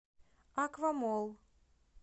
аквамолл